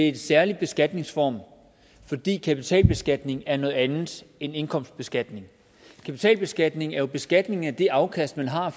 en særlig beskatningsform fordi kapitalbeskatning er noget andet end indkomstbeskatning kapitalbeskatning er jo beskatning af det afkast man har